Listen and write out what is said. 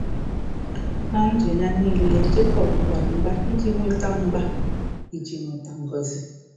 Na ndụ ya nile, Jekọb gbara mgba iji nweta mgba iji nweta ngọzi